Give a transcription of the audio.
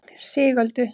Sigöldu